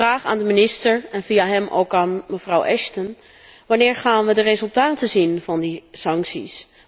Ik vraag aan de minister, en via hem ook aan mevrouw Ashton wanneer gaan we de resultaten zien van die sancties?